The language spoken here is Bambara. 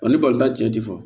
ni balimata cɛ ti fɔ